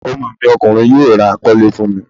Ọmọ mi Ọkùnrin yóò ra kọ́ ilé fún mi